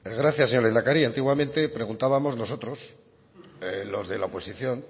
gracias señor lehendakari antiguamente preguntábamos nosotros los de la oposición